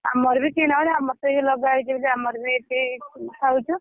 ଆମର ବି କିଣା ହଉନି ଆମର ବି କିଣା ହଉନି ଅମାର ତ ଏଇ ଲଗା ହେଇଛି ବୋଲି ଆମର ବି ଖାଉଛୁ।